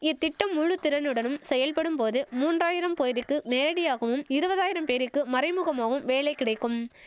இத்திட்டம் முழு திறனுடன் செயல்படும் போது மூன்றாயிரம் பொய்ருக்கு நேரடியாகவும் இருவதாயிரம் பேருக்கு மறைமுகமாவும் வேலை கிடைக்கும்